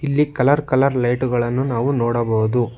ಇಲ್ಲಿ colour colour light ಗಳನ್ನು ನಾವು ನೋಡಬಹುದು.